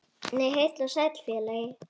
Nei, heill og sæll félagi!